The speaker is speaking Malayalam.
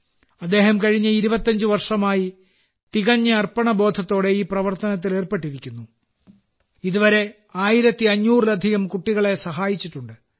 അദ്ദേഹം കഴിഞ്ഞ 25 വർഷമായി തികഞ്ഞ അർപ്പണബോധത്തോടെ ഈ പ്രവർത്തനത്തിൽ ഏർപ്പെട്ടിരിക്കുന്നു ഇതുവരെ 1500ലധികം കുട്ടികളെ സഹായിച്ചിട്ടുണ്ട്